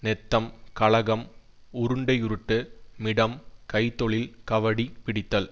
நெத்தம் கழகம் உருண்டையுருட்டுமிடம் கை தொழில் கவடி பிடித்தல்